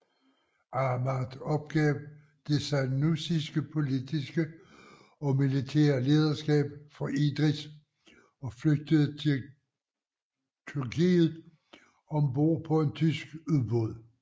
Ahmad opgav det sanusiske politiske og militære lederskab for Idris og flygtede til Tyrkiet ombord på en tysk ubåd